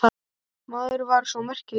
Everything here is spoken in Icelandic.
Maður var svo merkilegur.